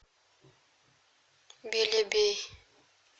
белебей